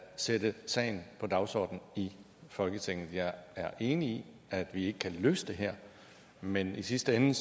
sætte sagen på dagsordenen i folketinget jeg er enig i at vi ikke kan løse det her men i sidste ende